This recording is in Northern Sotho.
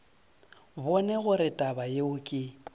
bone gore taba yeo ke